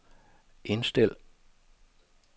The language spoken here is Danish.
indstil